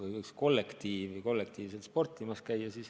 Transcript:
Ehk võiks kollektiiv kollektiivselt sportimas käia.